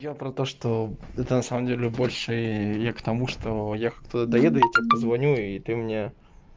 я про то что это на самом деле больше я к тому что я как туда доеду я тебе позвоню и ты мне